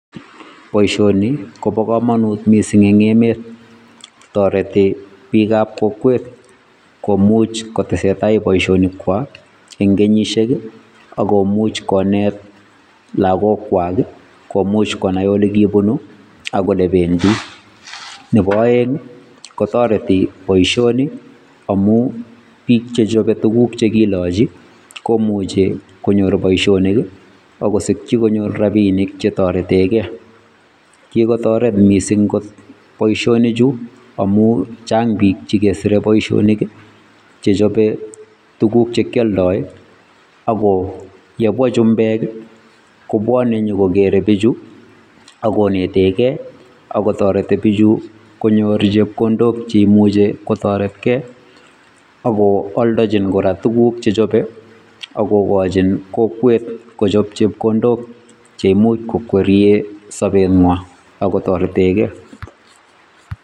Boisioni kobo kamanut mising eng emet, toreti biikab kokwet komuch kotese tai boisonikwai eng kenyisiek ako much konet lakokwai komuch konai ole kibunu ak olebendi. Nebo aeng, kotoreti boisioni amun biik chechopei tuguk che kilachi komuchei konyor boisionik akosikchi konyor rapinik che toretekei. Kikotoret mising boisinichu amun chang biik che keserei boisionik che chopei tuguk che kialdoi ako yekabwa chumbeek kobwani kogeere biichu ak konetekei ako toreti biichu konyor chepkondok che imuchei kotoretei ako aldochini kora tuguk che chopei ako kochin kokwet kochop chepkondok che imuch kokwerie sobengwai ako much kotoretekei.